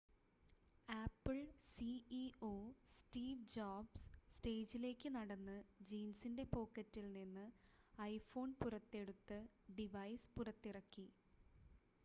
apple CEO Steve Jobs സ്റ്റേജിലേക്ക് നടന്ന് ജീൻസിൻ്റെ പോക്കറ്റിൽ നിന്ന് ഐഫോൺ പുറത്തെടുത്ത് ഡിവൈസ് പുറത്തിറക്കി